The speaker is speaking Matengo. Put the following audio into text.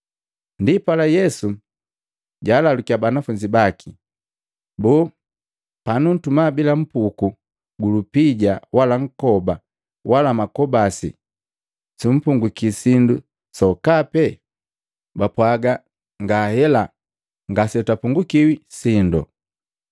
Ndipala Yesu jaalalukiya banafunzi baki, “Boo, panuntuma bila mpuku gu lupija wala nkoba wala makobasi, sumpungukii sindu sokape?” Bapwaga, “Ngahela ngase twapungukiwi sindo.”